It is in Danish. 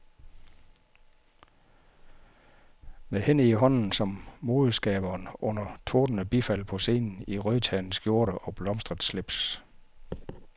Med hende i hånden kom modeskaberen under tordnende bifald på scenen i rødternet skjorte og blomstret slips.